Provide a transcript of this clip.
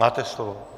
Máte slovo.